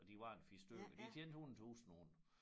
Og de var en 4 stykker de tjente 100 tusind på det